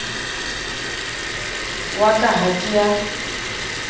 wa ka ha ke a